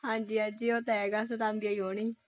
ਹਾਂਜੀ ਹਾਂਜੀ ਉਹ ਤਾਂ ਹੈਗਾ ਸਤਾਉਂਦੀ ਹੀ ਹੋਣੀ।